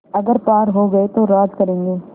अगर पार हो गये तो राज करेंगे